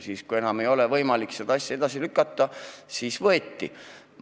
Siis, kui enam ei olnud võimalik asja edasi lükata, siis võeti see ette.